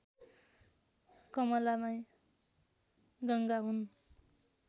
कमलामाई गङ्गा हुन्